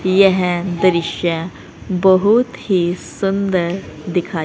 यह दृश्य बहुत ही सुंदर दिखा--